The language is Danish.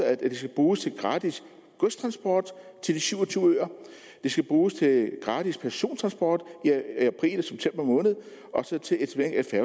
at de skal bruges til gratis godstransport til de syv og tyve øer de skal bruges til gratis persontransport i april og september måned